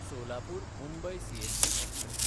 Solapur-Mumbai CST express